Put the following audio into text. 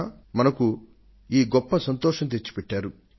flying officer లుగా ఈ ఘనతను సాధించారంటేనే మనం ఎంతగానో గర్విస్తాం